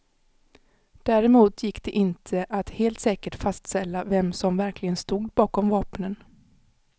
Däremot gick det inte att helt säkert fastställa vem som verkligen stod bakom vapnen.